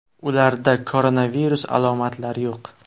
Ularda koronavirus alomatilari yo‘q.